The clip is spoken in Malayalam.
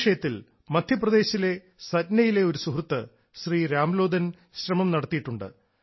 ഈ വിഷയത്തിൽ മദ്ധ്യപ്രദേശിലെ സത്നയിലെ ഒരു സുഹൃത്ത് ശ്രീ രാംലോധൻ ശ്രമം നടത്തിയിട്ടുണ്ട്